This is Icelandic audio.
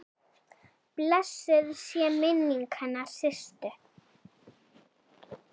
Blessuð sé minning hennar Systu.